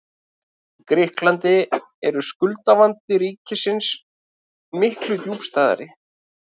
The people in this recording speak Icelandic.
Í Grikklandi er skuldavandi ríkisins miklu djúpstæðari.